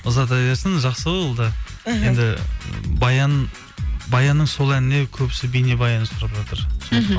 ұзата берсін жақсы ғой ол да іхі енді баянның сол әніне көбісі бейнебаян сұрап жатыр мхм